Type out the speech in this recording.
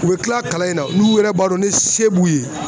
U bɛ tila kalan in na n'u yɛrɛ b'a dɔn ne se b'u ye